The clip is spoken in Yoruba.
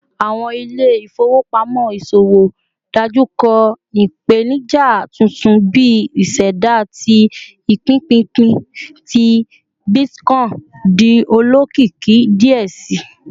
Awọn ile-ifowopamọ iṣowo dojukọ ipenija tuntun bi iseda ti ipinpinpin ti bitcoin di olokiki diẹ sii